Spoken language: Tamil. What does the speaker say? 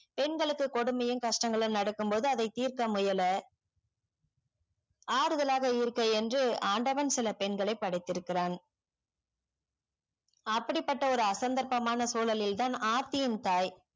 பெண்களுக்கு கொடுமையும் கஷ்டங்களும் நடக்கு போதும் அத திர்க்க முயல ஆறுதலாக இருக்கேய் என்று ஆண்டவன் சில பெண்களை படைத்திருக்கிறான் அப்படி பட்ட ஒரு அசந்தக்கமான சுழலில்தான் ஆரித்தியும் தாய்